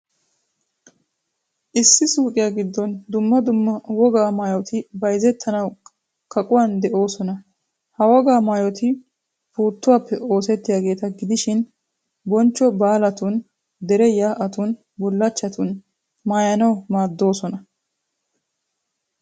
Issi suuqiyaa giddon dumma dumma wogaa maayoti bayzettanawu kaquwan de'oosona. Ha wogaa maayoti puuttuwaappe oosettiyaageeta gididi, bonchcho baalatun, dere yaa'tun, bullachchan, qaxxaran naayanawu maaddoosona.